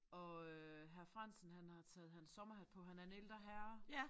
Og øh hr. Frandsen han har taget hans sommerhat på. Han er en ældre herre